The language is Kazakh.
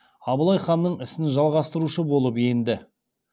абылай ханның ісін жалғастырушы болып енді